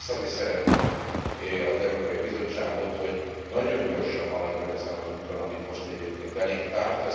Én csak biztatni szeretném az Európai Bizottságot, hogy nagyon gyorsan haladjon ezen az úton, amit most egyébként elénk tárt.